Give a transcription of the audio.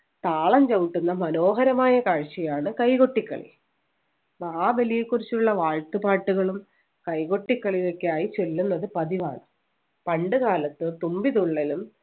താളം ചവിട്ടുന്ന മനോഹരമായ കാഴ്ചയാണ് കൈകൊട്ടിക്കളി മഹാബലിയെ കുറിച്ചുള്ള വാഴ്ത്തുപാട്ടുകളും കൈകൊട്ടി കളിയൊക്കെയായി ചൊല്ലുന്നത് പതിവാണ് പണ്ടുകാലത്ത് തുമ്പി തുള്ളലും